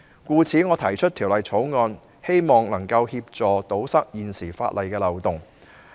故此，我提出《條例草案》，希望能夠協助堵塞現時法例的漏洞。